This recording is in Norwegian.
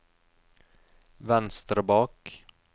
venstre bak